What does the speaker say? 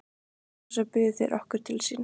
Og svo buðu þeir okkur til sín.